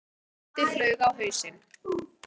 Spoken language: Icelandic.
ó, ó, Tóti flaug á hausinn.